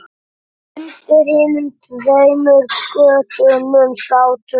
Undir hinum tveimur götunum sátu